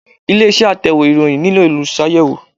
Ilé iṣẹ́ Atẹ̀wé ìròyìn nílò Olùṣàyẹ̀wò